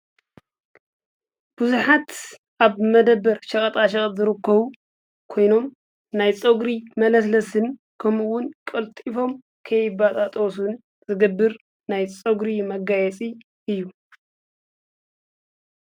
ብዙሓት ኣብ መደብር ሽቀጣሸቀጥ ዝርከቡ ኮይኖም ናይ ፀጉሪ መለስለስን ከምኡ እዉን ቀልጢፎም ከይበጣጠሱን ዝገብር ናይ ፀጉሪ መጋየፂ እዩ ።